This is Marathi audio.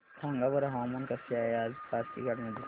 सांगा बरं हवामान कसे आहे आज पासीघाट मध्ये